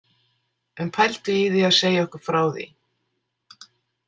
En pældu í því að segja okkur frá því?